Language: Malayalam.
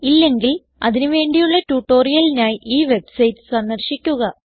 ഇല്ലെങ്കിൽ അതിന് വേണ്ടിയുള്ള ട്യൂട്ടോറിയലിനായി ഈ വെബ്സൈറ്റ് സന്ദർശിക്കുക